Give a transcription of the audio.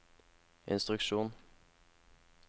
instruksjon